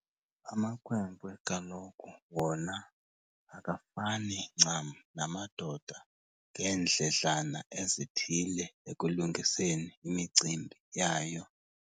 Amakhwenkwe kaloku wona akafani ncam namadoda ngeendledlana ezithile ekulungiseni imicimbi yayo.